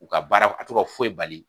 U ka baara a t'u ka foyi bali.